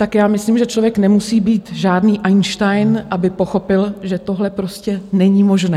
Tak já myslím, že člověk nemusí být žádný Einstein, aby pochopil, že tohle prostě není možné.